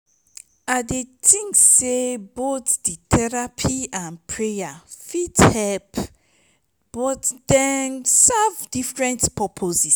i dey think say both di therapy and prayer fit help but dem serve different purposes.